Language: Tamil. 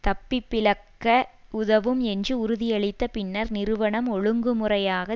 தப்பிப்பிழக்க உதவும் என்று உறுதியளித்த பின்னர் நிறுவனம் ஒழுங்குமுறையாக